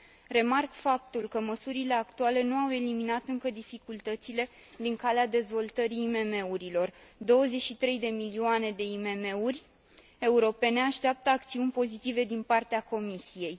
Remarc faptul că măsurile actuale nu au eliminat încă dificultățile din calea dezvoltării IMM urilor 23 de milioane de IMM uri europene așteaptă acțiuni pozitive din partea Comisiei.